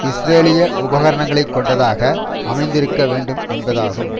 இஸ்ரேலிய உபகரணங்களை கொண்டதாக அமைந்திருக்க வேண்டும் என்பதாகும்